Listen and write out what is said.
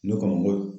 Ne kɔni bolo